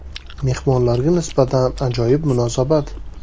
Mehmonlarga nisbatan ajoyib munosabat”.